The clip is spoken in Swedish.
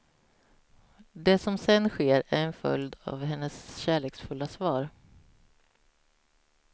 Det som sen sker är en följd av hennes kärleksfulla svar.